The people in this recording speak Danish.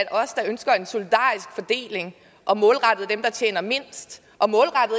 at os der ønsker en solidarisk fordeling målrettet dem der tjener mindst og